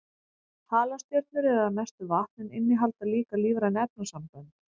Halastjörnur eru að mestu vatn en innihalda líka lífræn efnasambönd.